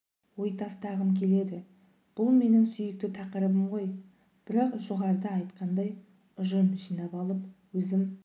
ой тастағым келеді бұл менің сүйікті тақырыбым ғой бірақ жоғарыда айтқанымдай ұжым жинап алып өзім